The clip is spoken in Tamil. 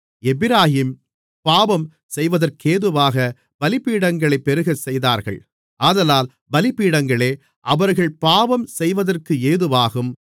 எப்பிராயீம் பாவம் செய்வதற்கேதுவாக பலிபீடங்களைப் பெருகச்செய்தார்கள் ஆதலால் பலிபீடங்களே அவர்கள் பாவம்செய்வதற்கு ஏதுவாகும்